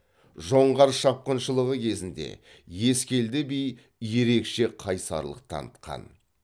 жоңғар шапқыншылығы кезінде ескелді би ерекше қайсарлық танытқан